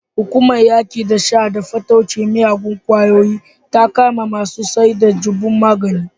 Hukumar yaƙi da sha da fataucin miyagun ƙwayoyi ta kama masu saida jabun magani.